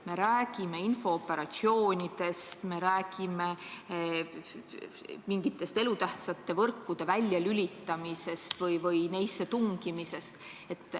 Me räägime infooperatsioonidest, me räägime mingite elutähtsate võrkude väljalülitamisest või neisse tungimisest.